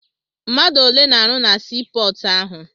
Mmadụ ole na-arụ na sii pọọtụ ahụ?